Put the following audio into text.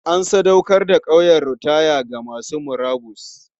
An sadaukar da ƙauyen ritaya ga masu murabus.